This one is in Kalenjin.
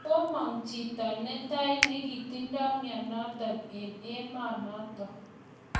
Komang chito netai nekotindai mionotok eng emaanotok